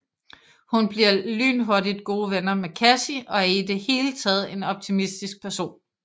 Hun bliver lynhurtigt gode venner med Cassie og er i det hele taget en optimistisk person